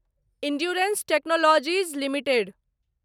endurance technologies limited